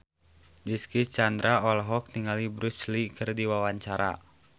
Dicky Chandra olohok ningali Bruce Lee keur diwawancara